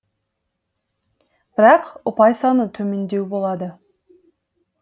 бірақ ұпай саны төмендеу болады